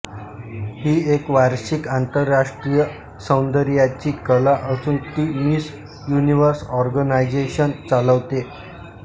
ही एक वार्षिक आंतरराष्ट्रीय सौंदर्याची कला असून ती मिस युनिव्हर्स ऑर्गनायझेशन चालवते